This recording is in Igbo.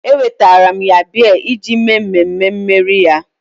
Ewetara m ya biya iji mee mmemme mmeri ya